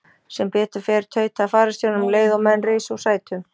Sem betur fer, tautaði fararstjórinn um leið og menn risu úr sætum.